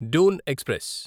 Doon express